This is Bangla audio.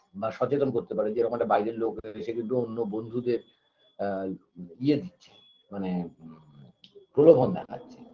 বা সচেতন করতে পারে যে এরকম একটা বাইরের লোক এসে কিন্তু অন্য বন্ধুদের আ ইয়ে দিচ্ছে মানে ম ম প্রলোভন দেখাচ্ছে